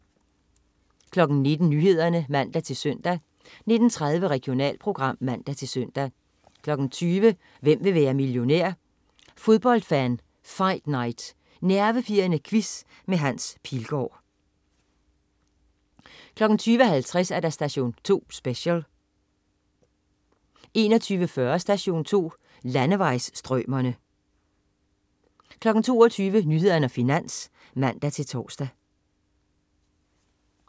19.00 Nyhederne (man-søn) 19.30 Regionalprogram (man-søn) 20.00 Hvem vil være millionær? Fodboldfan Fight Night. Nervepirrende quiz med Hans Pilgaard 20.50 Station 2 Special 21.40 Station 2. Landevejsstrømere 22.00 Nyhederne og Finans (man-tors)